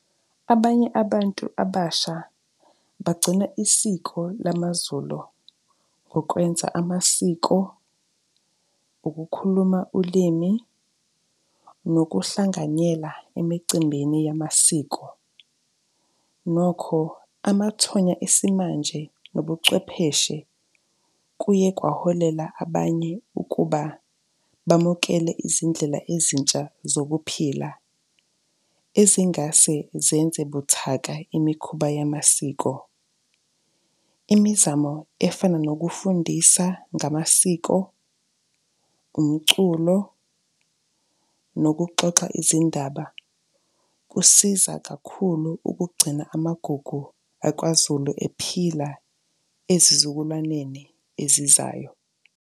Abanye abantu abasha bagcina isiko lamaZulu ngokwenza amasiko, ukukhuluma ulimi, nokuhlanganyela emicimbini yamasiko. Nokho, amathonya esimanje nobuchwepheshe kuye kwaholela abanye ukuba bamukele izindlela ezintsha zokuphila, ezingase zenze buthaka imikhuba yamasiko. Imizamo efana nokufundisa ngamasiko, umculo, nokuxoxa izindaba kusiza kakhulu ukugcina amagugu akwaZulu ephila ezizukulwaneni ezizayo.